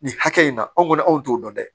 Nin hakɛ in na anw kɔni anw t'o dɔn dɛ